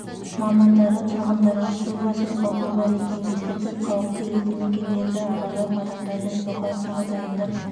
мамандары тұрғындарға су басу қаупі бар екенін ескертіп қауіпті елді мекендерді аралап адамдарды эвакуацияға дайындап